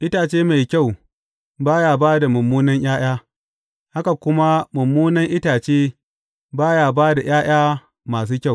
Itace mai kyau ba ya ba da munanan ’ya’ya, haka kuma mummunan itace ba ya ba da ’ya’ya masu kyau.